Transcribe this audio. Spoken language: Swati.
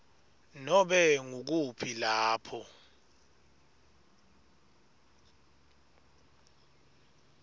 nobe ngukuphi lapho